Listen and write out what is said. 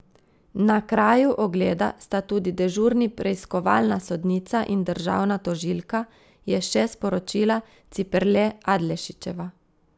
Na kraju ogleda sta tudi dežurni preiskovalna sodnica in državna tožilka, je še sporočila Ciperle Adlešičeva.